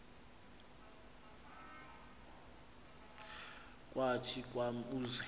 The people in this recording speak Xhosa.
kathi kwam uze